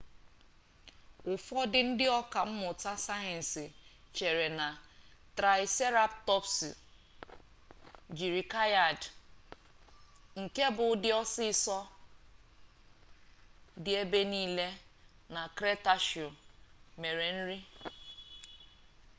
ụfọdụ ndị ọka mmụta sayensị chere na traịseratọpsụ jiri kaịad nke bụ ụdị osisi dị ebe nile na kretashiọs mere nri